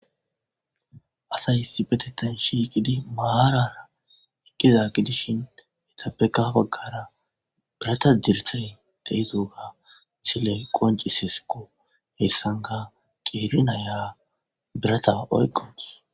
Assayi issippetethan shiqidi marara eqiza gidishin eththapekka ha baggara biraththa dirsse de'zoga ha missile qoncissesikko. Heyssankka qeri nayiyya biratha oyqawus.